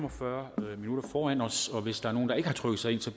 og fyrre minutter foran os og hvis der er nogen og ikke har trykket sig ind